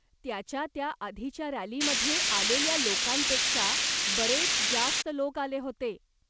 त्याच्या त्या आधीच्या रॅलीमध्ये आलेल्या लोकांपेक्षा बरेच जास्त लोक आले होते.